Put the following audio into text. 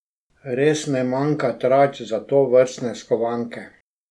Res ne manjka tarč za tovrstne skovanke.